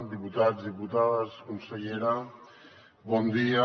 diputats diputades consellera bon dia